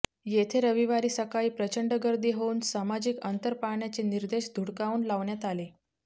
येथे रविवारी सकाळी प्रचंड गर्दी होऊन सामाजिक अंतर पाळण्याचे निर्देश धुडकवून लावण्यात आले